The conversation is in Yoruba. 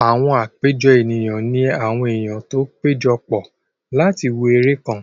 Àwọn àpéjọ ènìyàn ní àwọn èèyàn tó pẹ́jọ pọ̀ láti wo eré kan